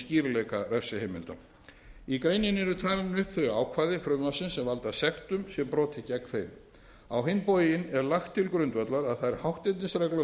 skýrleika refsiheimilda í greininni eru talin upp þau ákvæði frumvarpsins sem valda sektum sé brotið gegn þeim á hinn bóginn er lagt til grundvallar að þær hátternisreglur laganna sem